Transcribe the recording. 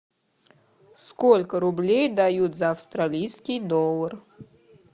сколько рублей дают за австралийский доллар